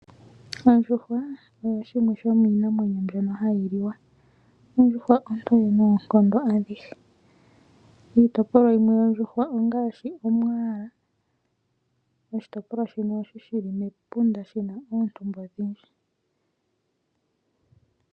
Oondjuhwa odho dhimwe dho miinamwenyo mbyoka hayi liwa. Ondjuhwa ontowe noonkondo adhihe. Iitopolwa yimwe yondjuhwa ongashi omwaala, oshitopolwa shoka shili mepunda, shina oontumba odhindji.